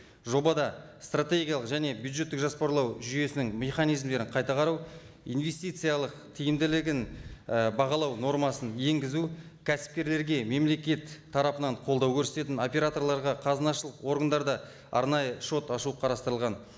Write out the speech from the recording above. жобада стратегиялық және бюджеттік жоспарлау жүйесінің механизмдерін қайта қарау инвестициялық тиімділігін і бағалау нормасын енгізу кәсіпкерлерге мемлекет тарапынан қолдау көрсететін операторларға қазынашылық органдарда арнайы шот ашу қарастырылған